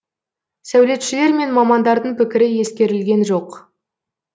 сәулетшілер мен мамандардың пікірі ескерілген жоқ